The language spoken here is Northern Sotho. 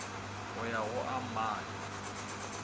go ya go a mane